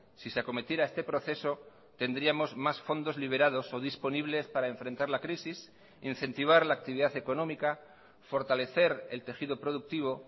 si se acometiera este proceso tendríamos más fondos liberados o disponibles para enfrentar la crisis incentivar la actividad económica fortalecer el tejido productivo